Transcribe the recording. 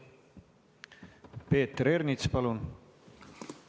Peeter Ernits, palun!